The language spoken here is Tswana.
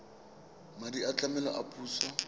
madi a tlamelo a puso